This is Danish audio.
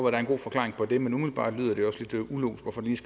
er en god forklaring på det men umiddelbart lyder